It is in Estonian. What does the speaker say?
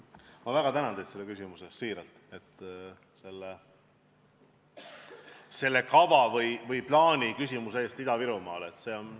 Ma väga tänan teid selle küsimuse eest, siiralt tänan küsimuse eest Ida-Virumaa kava või plaani kohta.